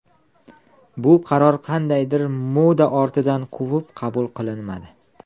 Bu qaror qandaydir ‘moda’ ortidan quvib qabul qilinmadi.